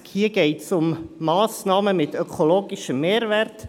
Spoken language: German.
Beim Traktandum 60 geht es um Massnahmen mit ökologischem Mehrwert.